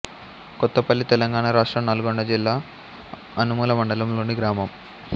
కొత్తపల్లి తెలంగాణ రాష్ట్రం నల్గొండ జిల్లా అనుముల మండలంలోని గ్రామం